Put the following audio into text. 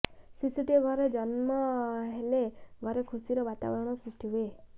ଶିଶୁଟିଏ ଘରେ ଜନ୍ନ ହେଲେ ଘରେ ଖୁସିର ବାତାବରଣ ସୃଷ୍ଟି ହୁଏ